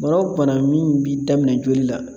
Mɔgɔ bana min b'i daminɛ joli la